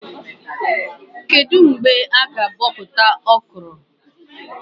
Kedụ mgbe a-ga abọpụta Okro?